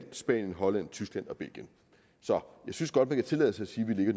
spanien holland tyskland og belgien så jeg synes godt man kan tillade sig